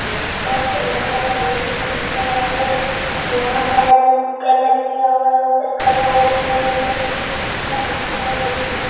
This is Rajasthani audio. फर्श तो लगा हुआ बहुत ही सुन्दर है और यहां पर कलर किया हुआ है ऊपर कलर और ये लड़के ने --